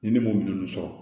Ni ne m'o minɛn ninnu sɔrɔ